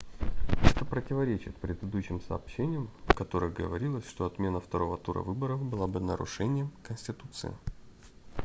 это противоречит предыдущим сообщениям в которых говорилось что отмена второго тура выборов была бы нарушением конституции